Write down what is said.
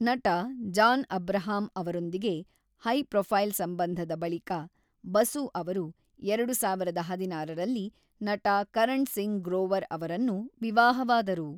ನಟ ಜಾನ್ ಅಬ್ರಹಾಂ ಅವರೊಂದಿಗೆ ಹೈ-ಪ್ರೊಫೈಲ್‌ ಸಂಬಂಧದ ಬಳಿಕ, ಬಸು ಅವರು ಎರಡು ಸಾವಿರದ ಹದಿನಾರರಲ್ಲಿ ನಟ ಕರಣ್ ಸಿಂಗ್ ಗ್ರೋವರ್ ಅವರನ್ನು ವಿವಾಹವಾದರು.